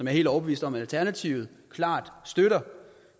helt overbevist om alternativet klart støtter